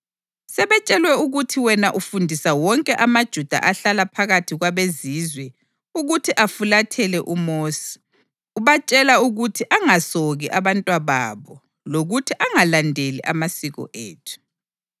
Sebetshelwe ukuthi wena ufundisa wonke amaJuda ahlala phakathi kwabeZizwe ukuthi afulathele uMosi, ubatshela ukuthi angasoki abantwababo lokuthi angalandeli amasiko ethu.